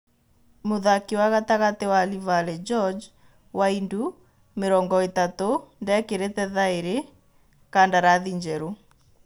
(Mũrori) Mũthaki wa gatagatĩ wa Livale George Waindu, mĩrongoĩtatũ, ndekĩrĩte thaĩri kandarathi njerũ.